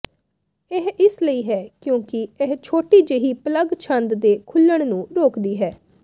ਇਹ ਇਸ ਲਈ ਹੈ ਕਿਉਂਕਿ ਇਹ ਛੋਟੀ ਜਿਹੀ ਪਲੱਗ ਛੰਦ ਦੇ ਖੁੱਲਣ ਨੂੰ ਰੋਕਦੀ ਹੈ